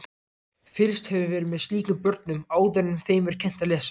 Fylgst hefur verið með slíkum börnum áður en þeim er kennt að lesa.